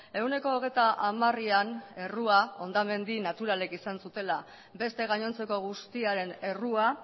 ehuneko hogeita hamarean errua hondamendi naturalekizan zutela beste gainontzeko guztiaren errua